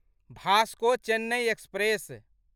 Vasco Chennai express